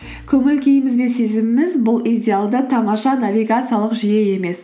көңіл күйіміз бен сезіміміз бұл идеалды тамаша навигациялық жүйе емес